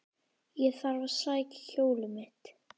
Ég þarf að sækja hjólið mitt.